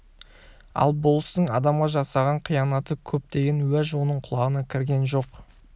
ал болыстың адамға жасаған қиянаты көп деген уәж оның құлағына кірген жоқ